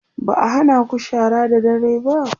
ba'a hanaku shara da dare ba?